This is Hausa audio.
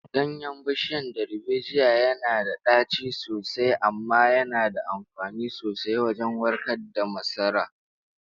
Ganyen bishiyar darbejiya yana da ɗaci sosai, amma yana da amfani sosai wajen warkar da masasara.